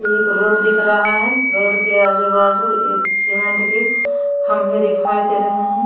एक रोड दिख रहा है रोड के आजू-बाजू ये सीमेंट के खंभे दिखाई दे रहे हैं।